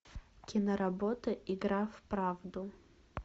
киноработа игра в правду